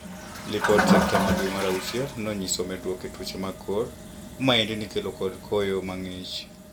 Lipod sekta ma dwe mar auchiel neonyiso medruok e tuoche mag kor. Maendi nikelo kod koyo mang'ich.